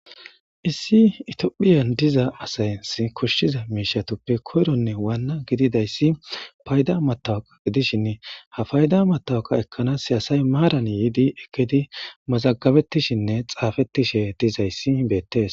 Issi tophiyan diza asas koshiza mishatappe koyronne Wana gididaysi payda matoqa gidishini ha payda matoqa ekansi asay maran yidi ekidi mazagabetishenne xaafetidhe dizaysi beetes